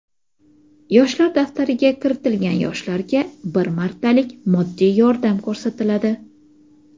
"Yoshlar daftari"ga kiritilgan yoshlarga bir martalik moddiy yordam ko‘rsatiladi.